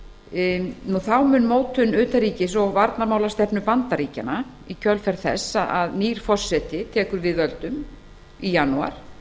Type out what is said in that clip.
búum þá mun mótun utanríkis og varnarmálastefnu bandaríkjanna í kjölfar þess að nýr forseti tekur við völdum í janúar